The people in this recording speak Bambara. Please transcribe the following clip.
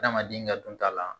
Adamaden ka dunta la